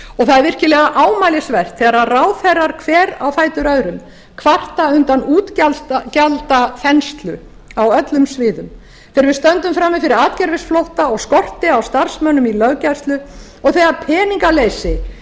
það er virkilega ámælisvert þegar ráðherrar hver á fætur öðrum kvarta undan útgjaldaþenslu á öllum sviðum þegar við stöndum frammi fyrir atgervisflótta og skorti á starfsmönnum í löggæslu og þegar peningaleysi